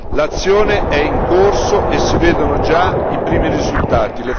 L'azione è in corso e si vedono già i primi risultati.